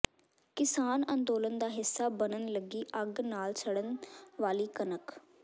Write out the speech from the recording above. ਕਿਸਾਨ ਅੰਦੋਲਨਾਂ ਦਾ ਹਿੱਸਾ ਬਣਨ ਲੱਗੀ ਅੱਗ ਨਾਲ ਸੜਨ ਵਾਲੀ ਕਣਕ